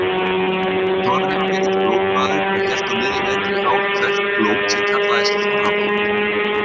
Þorri var mikill blótmaður og hélt á miðjum vetri ár hvert blót sem kallaðist þorrablót.